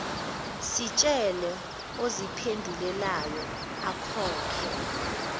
sitshele oziphendulelayo akhokhe